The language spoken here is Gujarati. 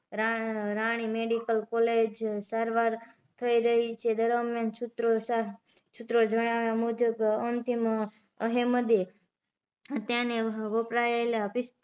રા રાણી મેડિકલ કોલેજ સારવાર થઇ રહી છે દરમીયાન સુત્રોસાર સુત્રો જણાવ્યા મુજબ અંતિક અહમદે હત્યા ને વપરાયેલા પિસ